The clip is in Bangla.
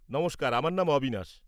নমস্কার, আমার নাম অবিনাশ।